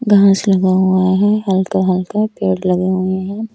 घास लगा हुआ है हल्का हल्का पेड़ लगे हुए हैं।